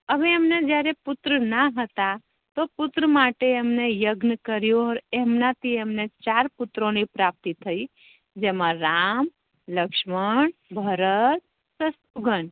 હવે જયારે એમ ને પુત્ર ના હેતા તો પુત્રો માટે એમને યજ્ઞ કરિયો એમના થી એમ ને ચાર પુત્રો ની પ્રાપ્તિ થઇ જેમા રામ, લક્ષ્મણ, ભરત શત્રુગન